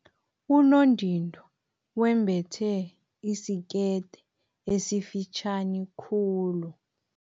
Unondindwa wembethe isikete esifitjhani khulu.